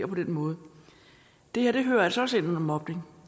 på den måde det her hører altså også ind under mobning